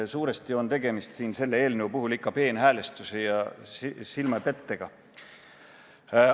Suuresti on selle eelnõu puhul tegemist ikka peenhäälestuse ja silmapettega.